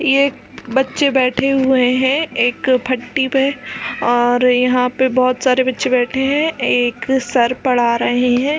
ये एक बच्चे बैठे हुए है एक फटटी पे और यहाँ पे बहुत सारे बच्चे बैठे है एक सर पढ़ा रहे है ।